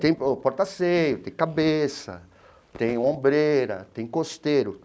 Tem o porta ceio, tem cabeça, tem ombreira, tem costeiro.